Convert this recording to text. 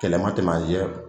Kɛlɛ ma tɛmɛ an cɛ